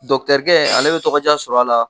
Dɔktɛrikɛ ale bɛ tɔgɔdiya sɔrɔ a la!